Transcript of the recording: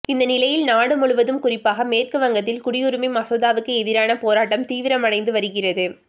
இந்த நிலையில் நாடு முழுவதும் குறிப்பாக மேற்குவங்கத்தில் குடியுரிமை மசோதாவுக்கு எதிரான போராட்டம் தீவிரமடைந்து வருகிறது